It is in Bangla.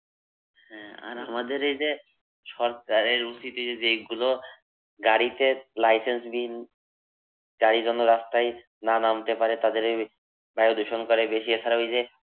হ্যাঁ আর আমাদের এই যে, সরকারের উচিত এই যে, যেইগুলো গাড়িতে licence বিহীন গাড়ী যেন রাস্তায় না নামতে পারে তাদের এই বায়ু দূষণ করে বেশি। এখানে ঐই যে